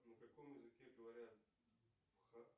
на каком языке говорят